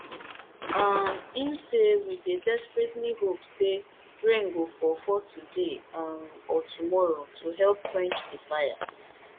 um e say we dey desperately hope say rain go fall fall today um or tomorrow to help quench di fire